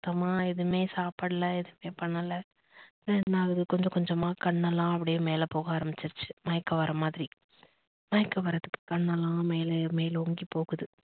சுத்தமா எதுமே சாப்டல எதுமே பண்ணல என்னா ஆகுது கொஞ்ச கொஞ்சமா கண்ணெலாம் அப்டியே மேல போக ஆரமிசிடுச்சு மயக்கம் வர மாதிரி. மயக்கம் வரதுக்கு கண்ணெலாம் மேல மேல் நோக்கி போகுது